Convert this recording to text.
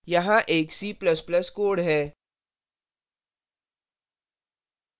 यहाँ एक c ++ code है